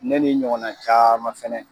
Ne ni ɲɔgɔn na caman fana